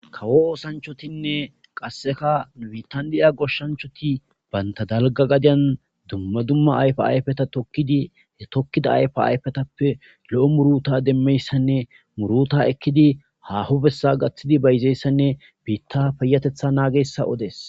kawo oosanchotinne qasseka nu bitandiya goshshanchoti banta dalga gadiyan dumma dumma ayfa ayfeta tokidi he tokkida ayfa ayfetappe lo7o muruta demmeyssanne muruta ekkidi hahobessa gaththidi bayzeeyssanne biitta payatetha naagessa odes.